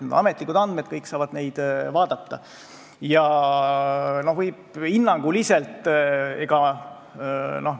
Need on ametlikud andmed, kõik saavad neid vaadata.